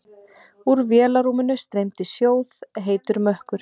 Úr vélarrúminu streymdi sjóðheitur mökkur.